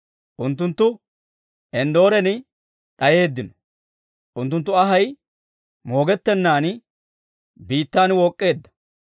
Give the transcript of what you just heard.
Unttunttu Enddooren d'ayeeddino; unttunttu anhay moogettennan biittan wook'k'eedda.